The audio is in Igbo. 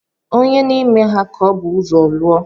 Ònye n’ime ha ka ọ bu ụzọ lụọ?